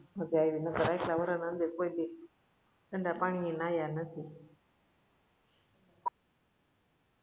માજા આઈવી નકર આટલા વરાહ ના અંદર કોઈ દી ઠંડા પાણી એ નાહ્યા નથી